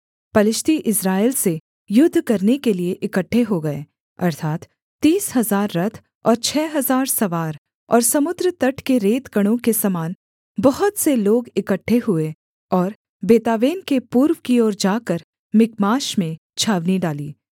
पलिश्ती इस्राएल से युद्ध करने के लिये इकट्ठे हो गए अर्थात् तीस हजार रथ और छः हजार सवार और समुद्र तट के रेतकणों के समान बहुत से लोग इकट्ठे हुए और बेतावेन के पूर्व की ओर जाकर मिकमाश में छावनी डाली